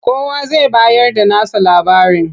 Kowa zai bayarda nasa labarin.